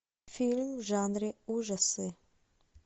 фильм в жанре ужасы